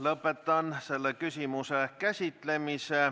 Lõpetan selle küsimuse käsitlemise.